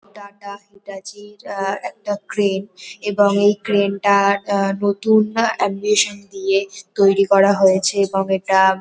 Tata Hitachi র আহ একটা ক্রেন । এবং এই ক্রেন টা নতুন আহ এমবিশন দিয়ে তৈরি করা হয়েছে এবং এটা--